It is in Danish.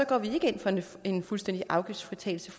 går vi ikke ind for en fuldstændig afgiftsfritagelse